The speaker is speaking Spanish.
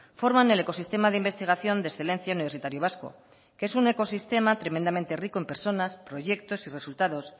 forman el ecosistema de investigación de excelencia universitario vasco que es un ecosistema tremendamente rico en personas proyectos y resultados